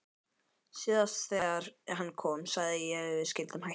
Síðast þegar hann kom sagði ég að við skyldum hætta.